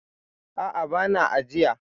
A'a, ba na ajiya.